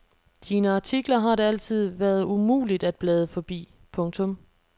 Dine artikler har det altid været umuligt at blade forbi. punktum